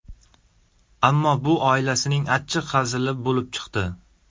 Ammo bu oilasining achchiq hazili bo‘lib chiqdi.